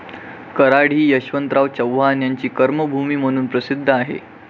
कराड हि यशवंतराव चव्हाण यांची कर्मभूमी म्हणून प्रसिद्ध आहे.